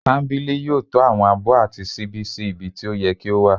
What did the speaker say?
kambili yóò tọ́ àwọn abó àti sibí sí ibí tí o yẹ́ kí o wa